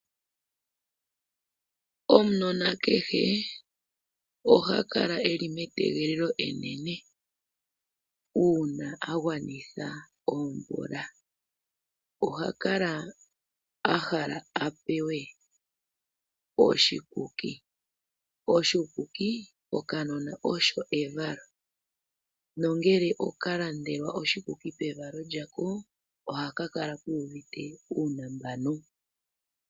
Omunona kehe oha kala e li metegelelo enene uuna a gwanitha omvula. Oha kala a hala a pewe oshikuki. Oshikuki kokanona osho evalo, nongele oka landelwa oshikuki pevalo lyako ohaka kala ku uvite uunambano.